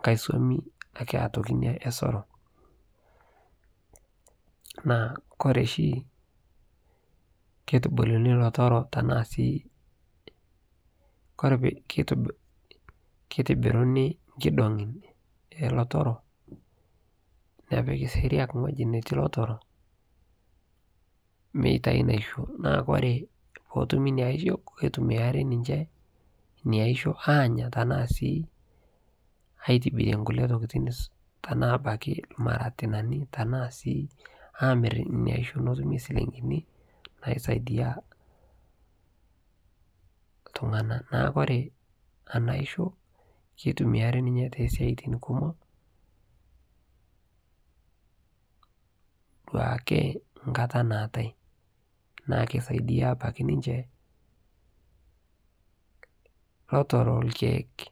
nghai somii otokii ake inia ee soroo naa kore shi keitubulunii lotoro tanaa sii keitibirunii nkidongii ee lotoroo nepikii seriak nghojii nejii netii lotoroo meitai naishoo naa koree pootumii inia aishoo keitumiarii ninshee inia aishoo anyaa tanaa sii aitibirie nkulie tokitin tanaa abakii lmaratinanii tanaa sii amir inia aishoo notumii silinkinii naisaidia ltunganaa naaku kore anaa aishoo keitumiariii ninyee tesiatin kumoo duakee nkataa naatai naa keisaidia sii abakii ninshee lotoroo lkeek.